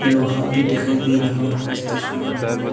लोहा भी दिखाई दे रहा है इस तस्वीर में हमें।